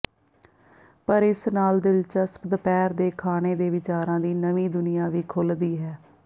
ਪਰ ਇਸ ਨਾਲ ਦਿਲਚਸਪ ਦੁਪਹਿਰ ਦੇ ਖਾਣੇ ਦੇ ਵਿਚਾਰਾਂ ਦੀ ਨਵੀਂ ਦੁਨੀਆਂ ਵੀ ਖੁੱਲ੍ਹਦੀ ਹੈ